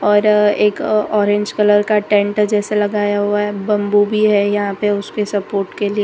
और एक orange colour का टेंट जैसा लगाया हुआ है बंबू भी है यहां पे उसपे सपोर्ट के लिए।